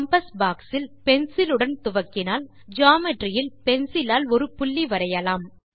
compass box ல் பென்சிலுடன் துவக்கினால் ஜியோமெட்ரி இல் பென்சிலால் ஒரு புள்ளி வரையலாம்